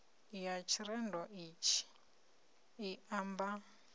ya tshirendo itshi i amba